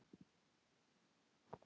Og guð, ég hélt áfram að hugsa um guð.